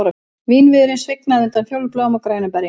Vínviðurinn svignaði undan fjólubláum og grænum berjum